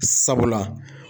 Sabula